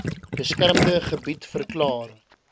beskermde gebied verklaar